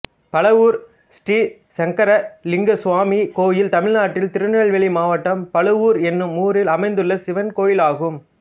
பழவூர் ஸ்ரீ சங்கர லிங்க சுவாமி கோயில் தமிழ்நாட்டில் திருநெல்வேலி மாவட்டம் பழவூர் என்னும் ஊரில் அமைந்துள்ள சிவன் கோயிலாகும்